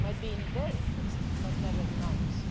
It might be in their interest, but never in ours.